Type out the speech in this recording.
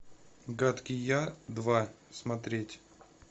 гадкий я два смотреть